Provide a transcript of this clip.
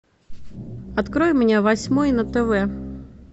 открой мне восьмой на тв